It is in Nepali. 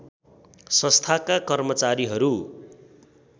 संस्थाका कर्मचारीहरू